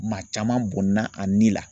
Maa caman bɔnɛna a ni la